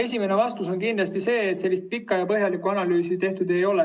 Esimene vastus on kindlasti see, et sellist pikka ja põhjalikku analüüsi tehtud ei ole.